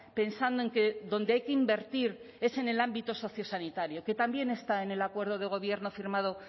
pensando en que donde hay que invertir es en el ámbito socio sanitario que también está en el acuerdo de gobierno firmado